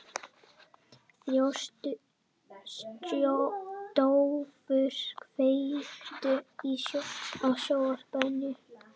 Þjóstólfur, kveiktu á sjónvarpinu.